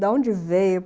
De onde veio?